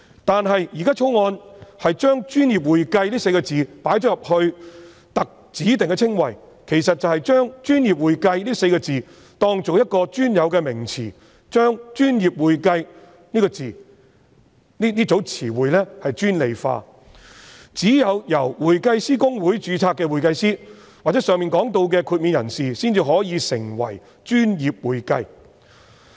但是，《條例草案》把"專業會計"列為指定稱謂，其實便是把"專業會計"視作一個專有名詞，把"專業會計"這名詞專利化，只有公會註冊的會計師或上述獲豁免的人士才可以成為"專業會計"。